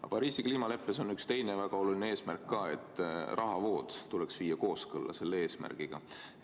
Aga Pariisi kliimaleppes on üks teine väga oluline eesmärk ka: rahavood tuleks viia selle eesmärgiga kooskõlla.